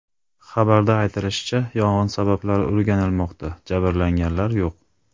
Xabarda aytilishicha, yong‘in sabablari o‘rganilmoqda, jabrlanganlar yo‘q.